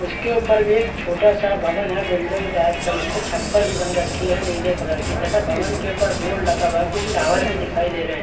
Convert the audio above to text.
इसके ऊपर भी एक छोटा सा भवन है बिल्डिंग टाइप का जिस पे छप्पर भी बन रखी है नीले कलर की तथा भवन के ऊपर बोर्ड भी लगा है कुछ टावर भी दिखाई रहे हैं।